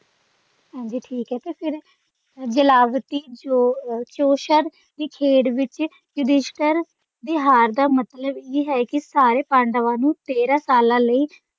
ਹਾਂਜੀ ਠੀਕ ਹੈ ਤੇ ਫੇਰ ਜੇਲਾਵਤੀ ਜੋਸ਼ਦ ਦੀ ਖੇਡ ਵਿਚ ਯੁਧਿਸ਼ਟਰ ਦੀ ਹਾਰ ਦਾ ਮਤਲਬ ਇਹ ਹੈ ਕਿ ਸਾਰੇ ਪਾਂਡਵਾਂ ਨੂੰ ਤੇਰਾਂ ਸਾਲਾਂ ਲਈ।